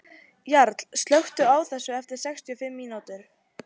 Jarl, slökktu á þessu eftir sextíu og fimm mínútur.